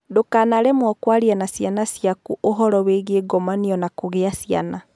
Ndũkanaremwo kwaria na ciana ciaku ũhoro wĩgiĩ ngomanio na kũgĩa ciana.